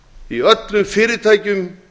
í öllum fyrirtækjum